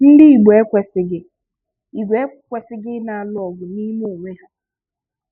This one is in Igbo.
Ndị Igbo ekwesighi Igbo ekwesighi ị na-alụ ọgụ n'ime onwe ha